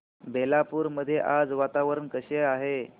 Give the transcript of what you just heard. बेलापुर मध्ये आज वातावरण कसे आहे